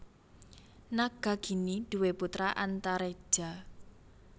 Nagagini duwé putra Antareja